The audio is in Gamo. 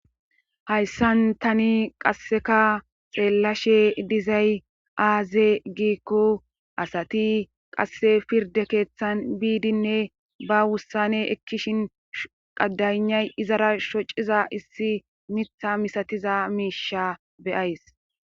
Hayssan tani qasseka xeellashe dizay aaze giikko asati qasse pirde keeththan biidinne ba wussane ekkishin qadaynay izara shociza issi mitha misatiza miisha beyays.